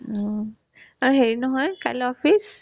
উম , ঐ হেৰি নহয় কাইলে office